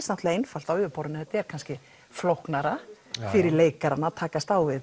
náttúrulega einfalt á yfirborðinu en er kannski flóknara fyrir leikarana að takast á við